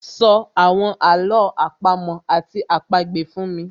So àwọn àló àpamọ́ àti àpagbè fún mi